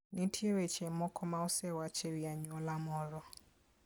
Nitie weche moko ma osewach e wi anyuola moro.